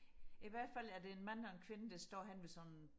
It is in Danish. i hvertfald er det en mand og en kvinde der står henne ved sådan en